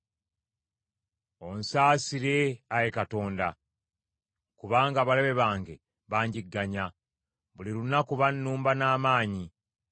Onsaasire, Ayi Katonda, kubanga abalabe bange banjigganya; buli lunaku bannumba n’amaanyi.